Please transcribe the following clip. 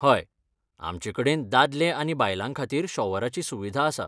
हय, आमचे कडेन दादले आनी बायलां खातीर शॉवराची सुविधा आसा.